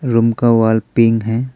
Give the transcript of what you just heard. Room का wall pink है।